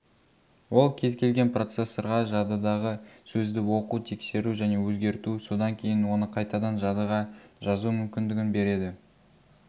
ол кез-келген процессорға жадыдағы сөзді оқу тексеру және өзгерту содан кейін оны қайтадан жадыға жазу мүмкіндігін береді